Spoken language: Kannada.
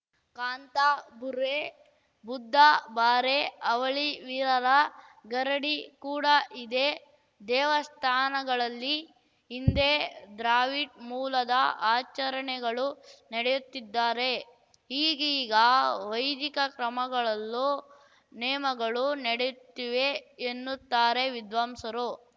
ಕಾಂತಾಬೂರೆ ಬುದ್ಧಬಾರೆ ಅವಳಿ ವೀರರ ಗರಡಿ ಕೂಡಾ ಇದೆ ದೇವಸ್ಥಾನಗಳಲ್ಲಿ ಹಿಂದೆ ದ್ರಾವಿಡ್ ಮೂಲದ ಆಚರಣೆಗಳು ನಡೆಯುತ್ತಿದ್ದಾರೆ ಈಗೀಗ ವೈದಿಕ ಕ್ರಮಗಳಲ್ಲೂ ನೇಮಗಳು ನೆಡೆಯುತ್ತಿವೆ ಎನ್ನುತ್ತಾರೆ ವಿದ್ವಾಂಸರು